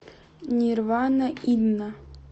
нирвана инна